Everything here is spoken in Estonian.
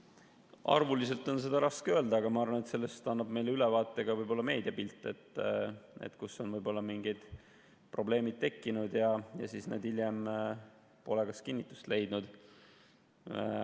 Arvuliselt on seda raske öelda, aga ma arvan, et sellest annab meile ülevaate ka meediapilt, kui on mingid probleemid tekkinud ja need pole hiljem kinnitust leidnud.